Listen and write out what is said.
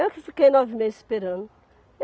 Eu que fiquei nove meses esperando.